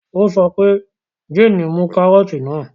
Ó sọ pé 'Jane mú kárọ́tì náà!